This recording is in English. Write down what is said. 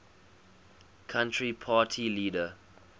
country party leader